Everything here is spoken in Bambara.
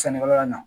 Sannikɛla na